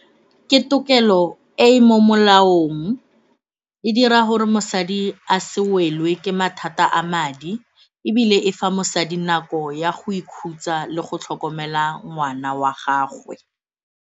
Ke tokelo e e mo molaong, e dira gore mosadi a se wele ke mathata a madi ebile e fa mosadi nako ya go ikhutsa le go tlhokomela ngwana wa gagwe.